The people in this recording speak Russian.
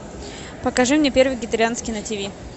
покажи мне первый вегетарианский на тиви